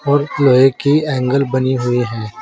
और लोहे की एंगल बनी हुई हैं।